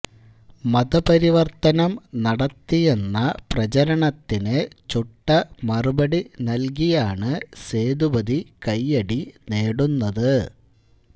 മതപരിവര്ത്തനം നടത്തിയെന്ന പ്രചരണത്തിന് ചുട്ടമറുപടി നല്കിയാണ് സേതുപതി കെെയ്യടി നേടുന്നത്